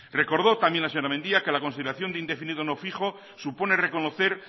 recordó también la señora mendia que la consideración de indefinido no fijo supone reconocer